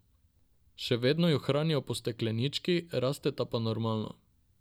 Še vedno ju hranijo po steklenički, rasteta pa normalno.